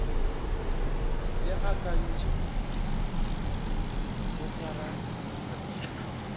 le akantše go swara phadišano